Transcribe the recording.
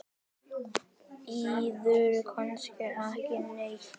Bíður kannski ekki neitt?